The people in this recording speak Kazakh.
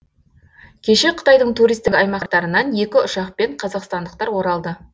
кеше қытайдың туристік аймақтарынан екі ұшақпен қазақстандықтар оралды